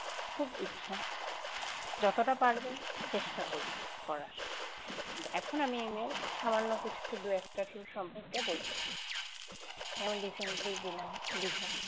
খুব ইচ্ছা যতটা পারবো চেষ্টা করব করার কিন্তু এখন আমি এই নিয়ে সামান্য কিছু একটু দু একটা tour সম্পর্কে বলছি যেমন recently গেলাম দীঘা।